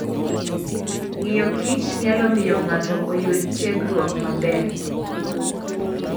Ng'iyo kich nyalo miyo ng'ato oyud tiegruok maber.